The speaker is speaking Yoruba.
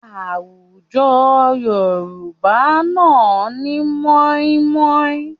Àwùjọ Yorùbá náà ní mọ́ímọ́í